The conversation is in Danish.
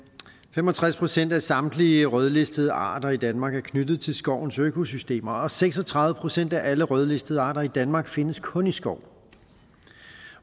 fem og tres procent af samtlige rødlistede arter i danmark er knyttet til skovens økosystemer og seks og tredive procent af alle rødlistede arter i danmark findes kun i skov